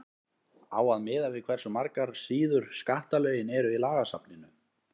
á að miða við hversu margar síður skattalögin eru í lagasafninu